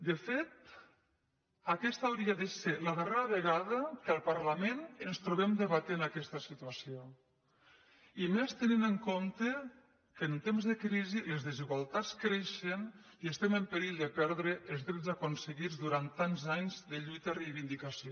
de fet aquesta hauria de ser la darrera vegada que al par·lament ens trobem debatent aquesta situació i més te·nint en compte que en temps de crisi les desigualtats creixen i estem en perill de perdre els drets aconse·guits durant tants anys de lluita i de reivindicació